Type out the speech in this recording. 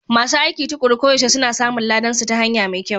Masu aiki tuƙuru koyaushe suna samun ladansu ta hanya mai kyau.